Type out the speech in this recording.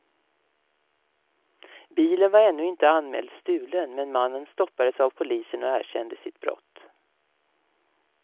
Bilen var ännu inte anmäld stulen, men mannen stoppades av polisen och erkände sitt brott.